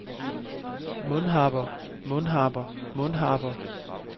mundharper mundharper mundharper